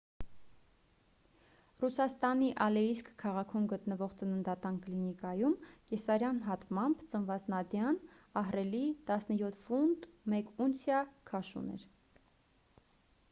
ռուսաստանի ալեիսկ քաղաքում գտնվող ծննդատան կլինիկայում կեսարյան հատմամբ ծնված նադյան ահռելի 17 ֆունտ 1 ունցիա քաշ ուներ